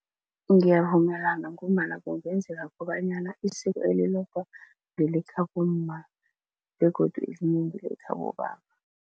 Ngiyavumelana ngombana kungenzeka kobanyana isiko elilodwa ngelekhabomma begodu elinye ngelekhabobaba.